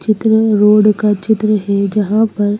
चित्र रोड का चित्र है जहां पर--